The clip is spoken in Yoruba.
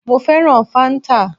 Mo fẹ́ràn fáńtà